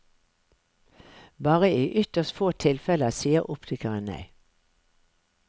Bare i ytterst få tilfeller sier optikeren nei.